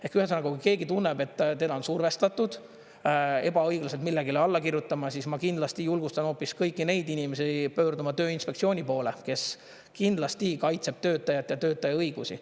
Ehk ühesõnaga, kui keegi tunneb, et teda on survestatud ebaõiglaselt millelegi alla kirjutama, siis ma kindlasti julgustan hoopis kõiki neid inimesi pöörduma Tööinspektsiooni poole, kes kindlasti kaitseb töötajat ja töötaja õigusi.